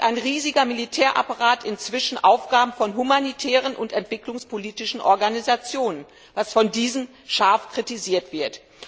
Dort übernimmt ein riesiger Militärapparat inzwischen Aufgaben von humanitären und entwicklungspolitischen Organisationen, was von diesen scharf kritisiert wird.